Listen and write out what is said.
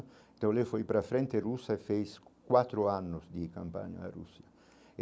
Então ele foi para frente a Rússia e fez quatro anos de campanha a Rússia.